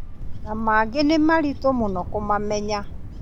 Na mangĩ nĩ maritũ mũno kũmamenya